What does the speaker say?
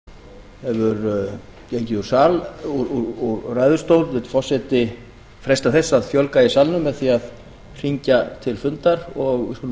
þar sem háttvirtur þingmaður hefur gengið úr ræðustól vill forseti freista þess að fjölga í salnum með því að hringja til fundar og við skulum